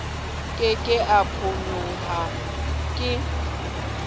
ke ke a phonyoha ke